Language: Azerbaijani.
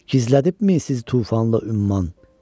Gizlədibmi sizi tufanla ümman?